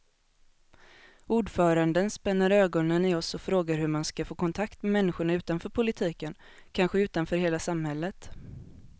Ordföranden spänner ögonen i oss och frågar hur man ska få kontakt med människorna utanför politiken, kanske utanför hela samhället.